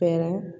Fɛɛrɛ